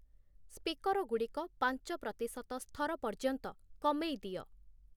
speaker ଗୁଡ଼ିକ ପାଞ୍ଚ ପ୍ରତିଶତ ସ୍ଥର ପର୍ଯ୍ୟନ୍ତ କମେଇ ଦିଅ